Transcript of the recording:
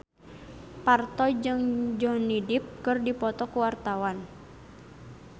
Parto jeung Johnny Depp keur dipoto ku wartawan